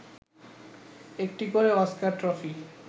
একটি করে Oscar trophy